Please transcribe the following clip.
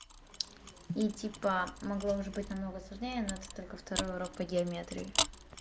и типа могло уже быть намного сложнее но это только второй урок по геометрии